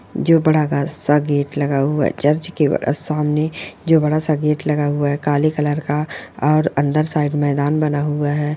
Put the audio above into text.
जो बड़ा का-स- गेट लगा हुआ है चर्च के सामने जो बड़ा स गेट लगा हुआ है काले कलर का और अंदर साइड मैदान बना हुआ है।